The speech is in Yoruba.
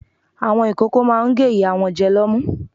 Àwọn ìkókó máa ń gé ìyá wọn jẹ lọ́mú.